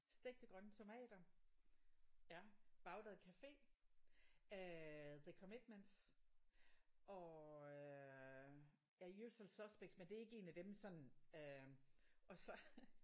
Stegte grønne tomater. Bagdad cafe. Øh The Commitments og øh ja Usual Suspects men det er ikke en af dem man sådan øh og så